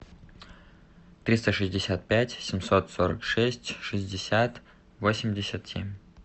триста шестьдесят пять семьсот сорок шесть шестьдесят восемьдесят семь